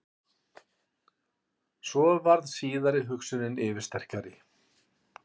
Svo varð síðari hugsunin yfirsterkari.